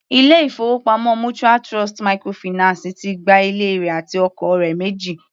Ilé-ìfowópamọ́ mutual Trust microfinance ti gba ilé rẹ̀ àti ọkọ̀ rẹ̀ méjì.